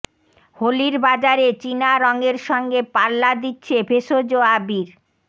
হোলির বাজারে চীনা রঙের সঙ্গে পাল্লা দিচ্ছে ভেষজ আবির